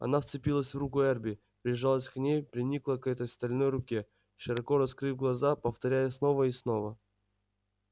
она вцепилась в руку эрби прижалась к ней приникла к этой стальной руке широко раскрыв глаза повторяя снова и снова